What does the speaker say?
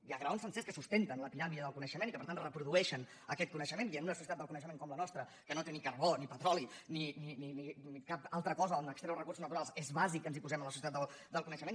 hi ha graons sencers que sustenten la piràmide del co·neixement i que per tant reprodueixen aquest conei·xement i en una societat del coneixement com la nos·tra que no té ni carbó ni petroli ni cap altra cosa d’on extreure recursos naturals és bàsic que ens hi posem en la societat del coneixement